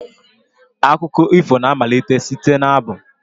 Akụkọ ifo na-amalite site n'abụ.